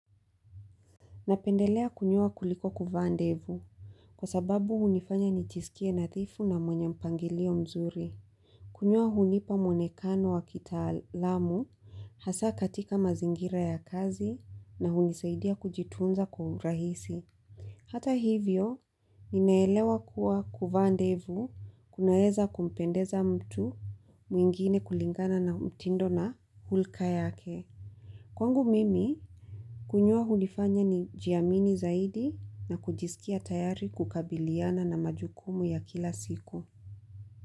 Napendelea kunyoa kuliko kuvaa ndevu kwa sababu hunifanya nijisikie nadhifu na mwenye mpangilio mzuri. Kunyoa hunipa mwonekano wa kitaalamu hasa katika mazingira ya kazi na hunisaidia kujitunza kwa rahisi. Hata hivyo, ninaelewa kuwa kuvaa ndevu kunaeza kumpendeza mtu mwingine kulingana na mtindo na hulka yake. Kwangu mimi, kunyoa hunifanya nijiamini zaidi na kujisikia tayari kukabiliana na majukumu ya kila siku.